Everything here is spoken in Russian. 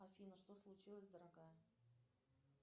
афина что случилось дорогая